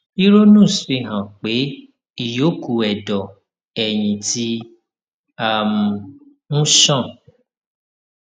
ìrònúx fi hàn pé ìyókù ẹdọ ẹyìn ti um ń ṣàn